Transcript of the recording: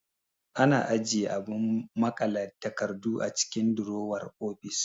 Ana ajiye abun maƙale takardu a cikin durowar ofis